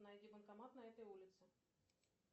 найди банкомат на этой улице